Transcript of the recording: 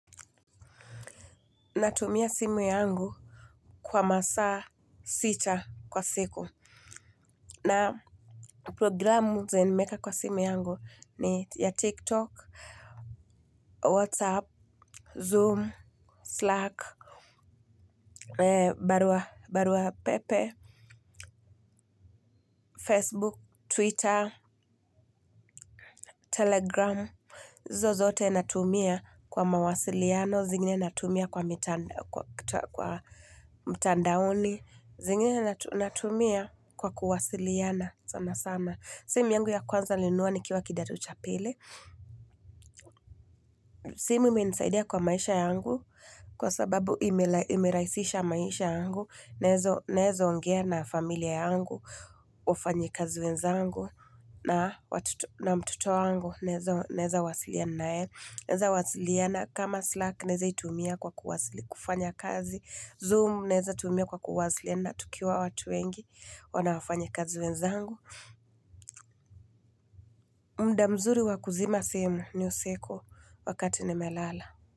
Natumia simu yangu kwa masaa sita kwa siku. Na programu zenye nimeeka kwa simu yangu ni ya TikTok, WhatsApp, Zoom, Slack, Barua Pepe, Facebook, Twitter, Telegram. Hizo zote natumia kwa mawasiliano, zingine natumia kwa mtandaoni, zingine natumia kwa kuwasiliana, sana sana. Simu yangu ya kwanza nilinunua nikiwa kidato cha pili. Simu imenisaidia kwa maisha yangu, kwa sababu imerahisisha maisha yangu, naeza ongea na familia yangu, wafanyikazi wenzangu na mtoto wangu naeza wasiliana naye naeza wasiliana kama Slack naeza itumia kwa kufanya kazi Zoom neza tumia kwa kufanya kazi na tukiwa watu wengi wanafanyakazi wenzangu muda mzuri wa kuzima simu ni usiku wakati nimelala.